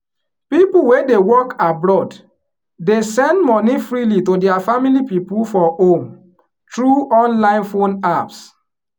people wey dey work abroad dey send money freely to dia family people for home through online phone apps